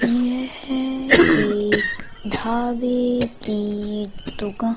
यह एक ढाबे की दुका--